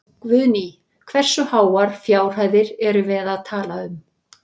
Guðný: Og hversu háar fjárhæðir erum við að tala um?